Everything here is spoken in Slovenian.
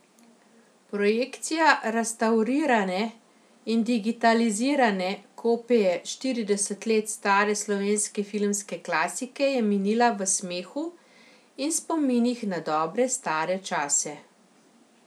Projekcija restavrirane in digitalizirane kopije štirideset let stare slovenske filmske klasike je minila v smehu in spominih na dobre stare čase.